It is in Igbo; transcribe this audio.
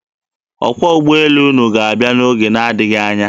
Ọkwọ ụgbọelu ga-abịa n'oge na-adịghị anya.